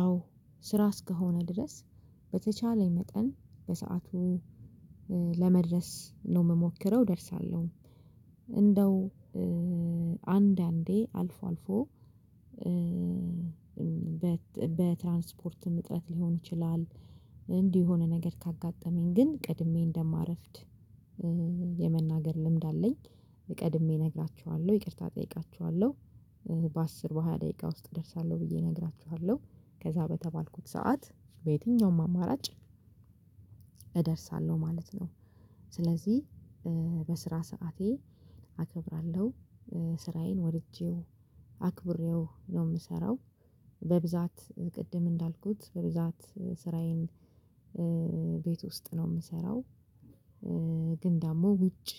አዎ ስራ እስከሆነ ድረስ በተቻለኝ መጠን በሰአቱ ለመድረስ ነው የምሞክረው፣ እደርሳለሁ። እንዴው አንዳንዴ አልፎ፣ አልፎ በትራንስፖርት ምጥረት ሊሆን ይችላል፣ እንዴው የሆነ ነገር ካጋጠመኝ ግን ቀድሜ እንደማረፍድ የመናገር ልምድ አለኝ። ቀድሜ እነግራቸዋለሁ። ይቅርታ እጠይቃቸዋለሁ። በአስር በሃያ ደቂቃ ውስጥ እደርሳለሁ ብዬ እነግራቸዋለሁ። ከዛ በተባልኩት ሰዓት በየትኛውም አማራጭ እደርሳለሁ ማለት ነው። ስለዚህ በስራ ሰዓቴ አከብራለሁ። ስራዬን ወድጄው፣ አክብሬው ነው የምሰራው። በብዛት ቅድም እንዳልኩት በብዛት ስራዬን ቤት ውስጥ ነው የምሰራው። ግን ደግሞ ውጭ